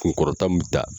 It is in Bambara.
Kunkɔrɔta mun ta